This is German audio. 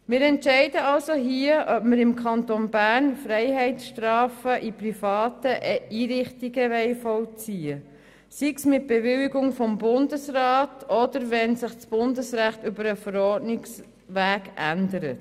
Wir entscheiden also hier, ob wir im Kanton Bern Freiheitsstrafen in privaten Einrichtungen vollziehen wollen, sei es mit Bewilligung durch den Bundesrat oder wenn sich das Bundesrecht über den Verordnungsweg ändert.